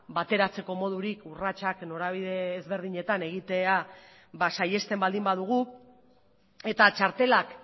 bateratzeko modurik urratsak norabide ezberdinetan egitea ba saihesten baldin badugu eta txartelak